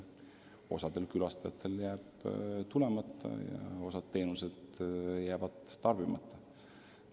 Osa rahvast jääb Narva tulemata ja osa teenuseid jääb tarbimata.